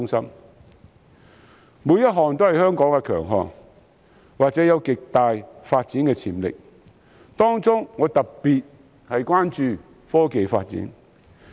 上述每一項均是香港的強項或具有極大發展潛力，當中我特別關注科技發展。